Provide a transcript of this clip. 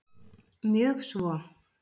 Mjög svo!